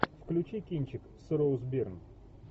включи кинчик с роуз бирн